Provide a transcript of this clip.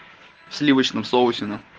в сливочном соусе нах